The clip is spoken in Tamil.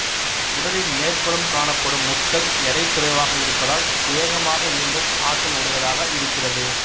உடலின் மேற்புறம் காணப்படும் முட்கள் எடை குறைவாக இருப்பதால் வேகமாக இயங்கும் ஆற்றல் உடையதாக இருக்கிறது